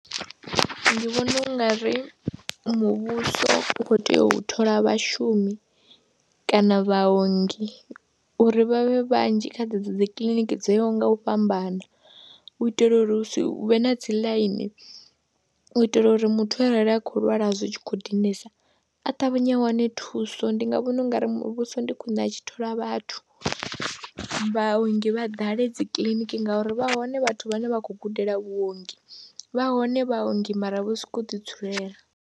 Ndi vhona u nga ri muvhuso u khou tea u thola vhashumi kana vhaongi uri vha vhe vhanzhi kha dzedzo dzi kiḽiniki dzo yaho nga u fhambana u itela uri hu si vhe na dzi ḽaini, u itela uri muthu arali a khou lwala zwi tshi khou dinesa a ṱavhanye a wane thuso. ndi nga vhona u nga ri muvhuso ndi khwine a tshi thola vhathu, vhaongi vha ḓale dzi kiḽiniki ngauri vha hone vhathu vhane vha khou gudela vhuongi, vha hone vhaongi mara vho sokou ḓidzulela.